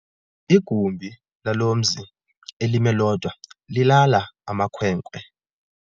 Igumbi lalo mzi elimi lodwa lilala amakhwenkwe.